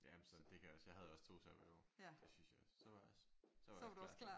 Jamen så det kan jeg også jeg havde også 2 sabbatår det synes jeg også så var så var jeg også klar